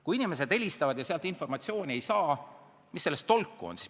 Kui inimesed helistavad ja nad informatsiooni ei saa, siis mis tolku sellest on?